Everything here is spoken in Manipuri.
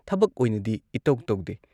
ꯊꯕꯛ ꯑꯣꯏꯅꯗꯤ ꯏꯇꯧ ꯇꯧꯗꯦ ꯫